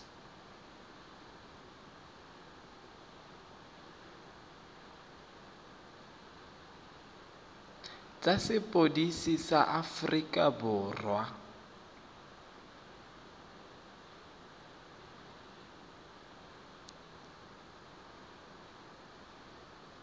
tsa sepodisi sa aforika borwa